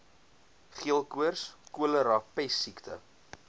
geelkoors cholera pessiekte